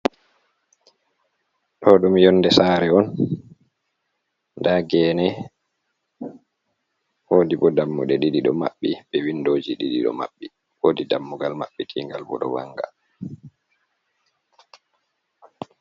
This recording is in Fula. Ɗoɗum yonde sari on, nda gene wodi bo dammuɗe ɗidi maɓɓi be windoji ɗiɗo bo ɗo maɓɓi, wodi dammugal maɓɓi tingal bo ɗovanga.